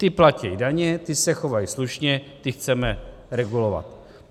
Ti platí daně, ti se chovají slušně, ty chceme regulovat.